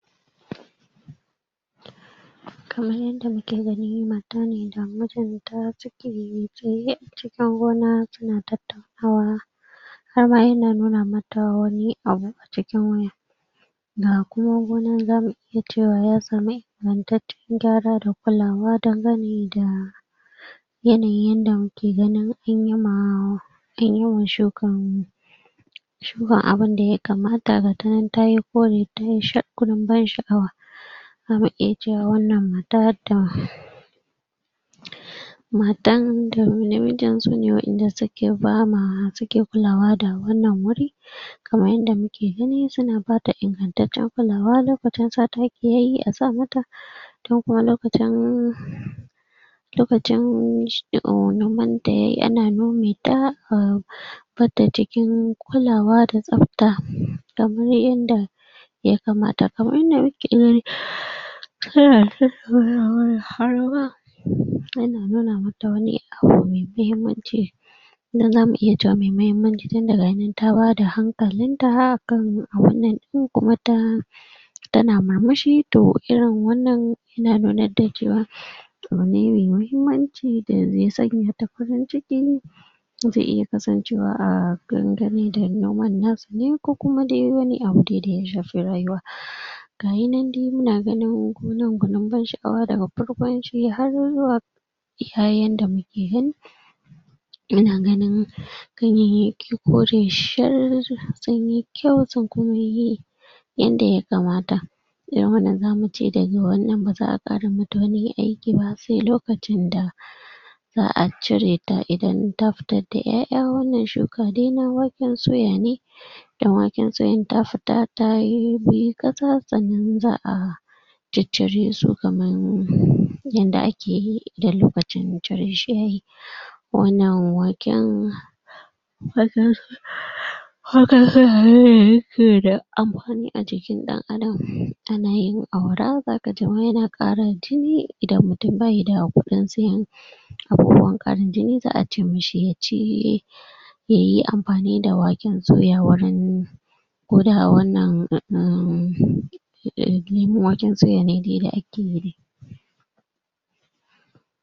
kamar yanda muke gani matace da mijin ta (????) suka zauna suna tattaunawa har ma yana nuna mata wani abu cikin waya (??????) yacewa yatsa mai (????) gyara da kulawa danganeda yanayin yadda muke gani in yama (?????) shukan abinda ya kamata da gata nan tay kore ta shar gwanin sha'awa (????????????) da muke cewa wannan matatan matanda na(????????) yabama wacce take kulawa da wannan wuri kamar yadda muke gani tana bada ingantaccen kulawa lokacin sa taki yayi asa mata dakuma lokacin lokacin duka noman dayayi yan nome ta wanda cikin kulawa da tsafta da wuri inda ya kamata kamar da weekend (?????)(?????????????????????) yana nuna mata wani abu mai mahimmanci (?????????) tun daga nan ta bada hankalinta kan abin nan din kuma ta tana murmushi to irin wannan yana nuna da cewa abune mai mahimmanci da ze sanyata farin ciki ze iya kasancew a danganeda noman nasa ni kuma de wani abune de daya shafi rayuwa (????) gayinande ina ganin wannan gwaanin sha'awa da babban farin ciki har zuwa iya yanda muke gani yana ganin gayanyyaki kore shar sunyi kyau sun kuma yi yanda ya kamata ya man zamuce daga wannan ba za'a aa rubuta wani aiki ba sai lokacinda za'a cireta idan ta fitar da yaya wannan shi da dai waken suya ne da waken suyan ta fita tayi kuyi kasa sa'anan za'a cicciresu kaman (????) yanda akeyi (???????????????) wannan waken (?????)(????)(???????????) saboda amfani ajikin dan'adam ana yin awara (??????) idan mutum baida hakuri sai abubuwan har za'a ce yaci yayi amfanida waken suya wurin wurin a wannan hmmmm (?????????)